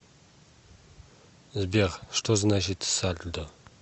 сбер что значит сальдо